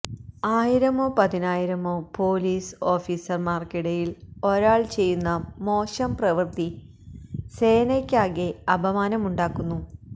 ആയിരമോ പതിനായിരമോ പോലീസ് ഓഫീസര്മാര്ക്കിടയില് ഒരാള് ചെയ്യുന്ന മോശം പ്രവൃത്തി സേനയ്ക്കാകെ അപമാനമുണ്ടാക്കുന്നു